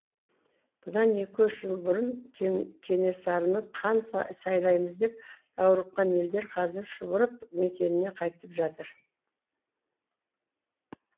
бұдан екі үш жыл бұрын кенесарыны хан сайлаймыз деп даурыққан елдер қазір шұбырып мекеніне қайтып жатыр